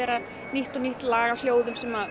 nýtt og nýtt lag af hljóðum sem